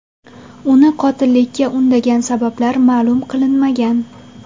Uni qotillikka undagan sabablar ma’lum qilinmagan.